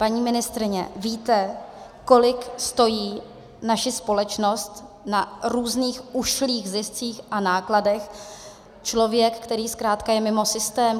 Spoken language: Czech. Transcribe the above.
Paní ministryně, víte, kolik stojí naši společnost na různých ušlých ziscích a nákladech člověk, který zkrátka je mimo systém?